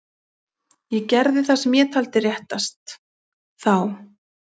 Ég gerði það sem ég taldi réttast. þá.